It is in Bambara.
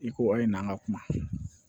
I ko ayi n'an ka kuma